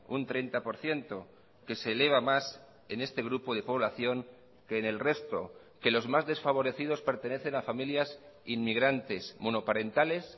un treinta por ciento que se eleva más en este grupo de población que en el resto que los más desfavorecidos pertenecen a familias inmigrantes monoparentales